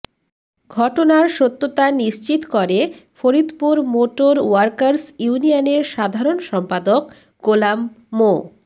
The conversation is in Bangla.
ঘটনার সত্যতা নিশ্চিত করে ফরিদপুর মোটর ওয়ার্কার্স ইউনিয়নের সাধারণ সম্পাদক গোলাম মো